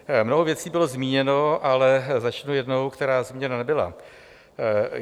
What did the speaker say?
Mnoho věcí bylo zmíněno, ale začnu jednou, která zmíněna nebyla.